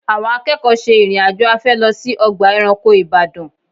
Àwọn akẹ́kọ̀ọ́ ṣe ìrìn-àjò afẹ́ lọ sí ọgbà ẹranko Ìbàdàn